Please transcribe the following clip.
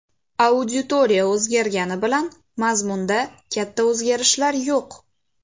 Auditoriya o‘zgargani bilan mazmunda katta o‘zgarishlar yo‘q.